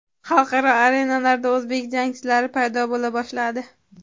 xalqaro arenalarda o‘zbek jangchilari paydo bo‘la boshladi.